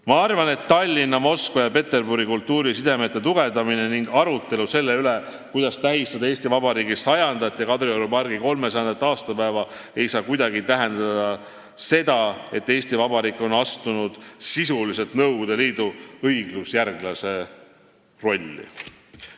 Ma arvan, et Tallinna, Moskva ja Peterburi kultuurisidemete tugevdamine ning arutelu selle üle, kuidas tähistada Eesti Vabariigi 100. ja Kadrioru pargi 300. aastapäeva, ei saa kuidagi tähendada seda, et Eesti Vabariik on astunud sisuliselt Nõukogude Liidu õigusjärglase rolli.